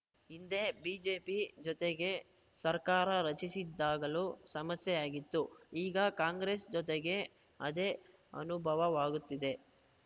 ಹಿಂದೆ ಬಿಜೆಪಿ ಜೊತೆಗೆ ಸರ್ಕಾರ ರಚಿಸಿದ್ದಾಗಲೂ ಸಮಸ್ಯೆಯಾಗಿತ್ತು ಈಗ ಕಾಂಗ್ರೆಸ್‌ ಜೊತೆಗೂ ಅದೇ ಅನುಭವವಾಗುತ್ತಿದೆ